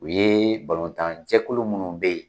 U ye balontan jɛkulu munnu be yen